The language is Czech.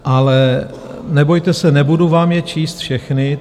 Ale nebojte se, nebudu vám je číst všechny.